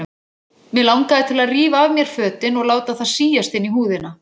Mig langaði til að rífa af mér fötin og láta það síast inn í húðina.